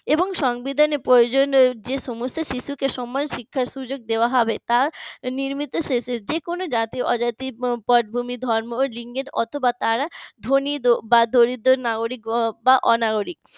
এবং সংবিধানের প্রয়োজনের এবং সংবিধানের প্রয়োজনে সমস্ত শিশুকে শিক্ষার সুযোগ দেওয়া হবে নির্মিত রয়েছে যে কোন জাতি-অজাতি পদভূমি ধর্ম লিঙ্গের অথবা তারা ধনী দরিদ্র নাগরিক বা অনাগরিক